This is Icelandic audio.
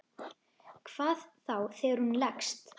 Hvað þá þegar hún leggst.